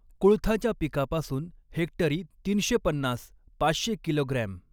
कुळथाच्या पिकापासून हेक्टरी तीनशे पन्नास पाचशे किलोग्रॅम.